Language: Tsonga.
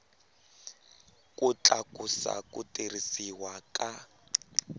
ku tlakusa ku tirhisiwa ka